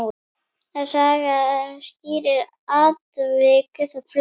Saga skýrir atvik flest.